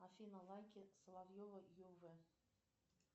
афина лайки соловьева ю в